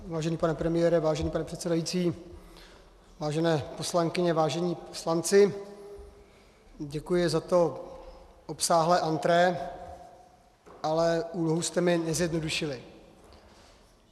Vážený pane premiére, vážený pane předsedající, vážené poslankyně, vážení poslanci, děkuji za to obsáhlé entrée, ale úlohu jste mi nezjednodušili.